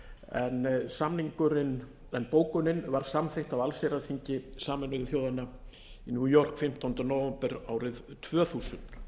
en bókunin var samþykkt af allsherjarþingi sameinuðu þjóðanna í new york fimmtánda nóvember árið tvö þúsund